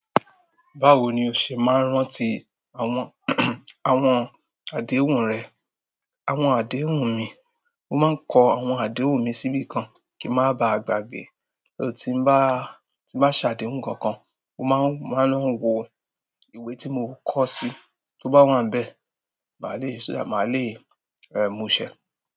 Báwo ni o ṣe máa ń rántí àwọn, àwọn àdéhùn rẹ̀? Àwọn àdéhùn mi, mo máa ń kọ àwọn àdéhùn mi síbí kan kí ń má ba à gbàgbé. Ti n ba se àdéhùn kan, mo maa n lo wo ìwé ti mo koo sii. Tí ó bá wa n bẹ́ẹ̀, màá le è, màá le è mú ṣẹ.